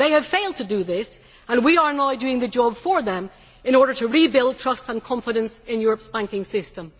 They have failed to do this and we are now doing the job for them in order to rebuild trust and confidence in Europe's banking system.